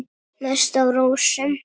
Mest á rósum.